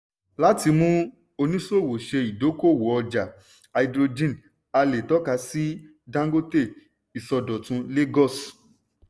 láti mú oníṣòwò ṣe idokó-òwò ọjà háídírójìn a lè tọ́ka sí dangote ìsọdọ̀tun lagos.